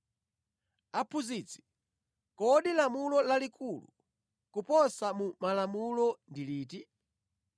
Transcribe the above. “Aphunzitsi, kodi lamulo lalikulu koposa mu malamulo ndi liti?”